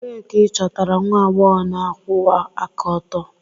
Ebee ka ịchọtara nwa agbọghọ na-akwụwa aka ọtọ?